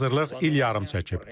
Hazırlıq il yarım çəkib.